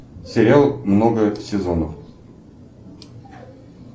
сериал много сезонов